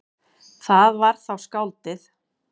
Það var þá skáldið.